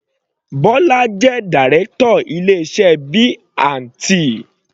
Bola jẹ́ Direction ilé iṣẹ́ B&T.